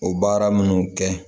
O baara minnu kɛ